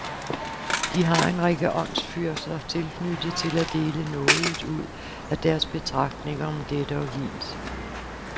De har en række åndsfyrster tilknyttet til at dele nådigt ud af deres betragtninger om dette og hint.